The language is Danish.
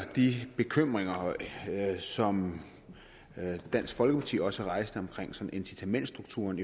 de bekymringer som dansk folkeparti også har rejst om incitamentsstrukturen